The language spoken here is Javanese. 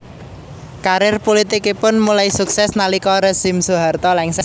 Karier pulitikipun mulai sukses nalika rezim Soeharto lengser